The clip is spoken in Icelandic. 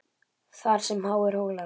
Þar sem háir hólar